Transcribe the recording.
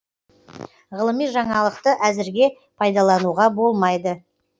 ғылыми жаңалықты әзірге пайдалануға болмайды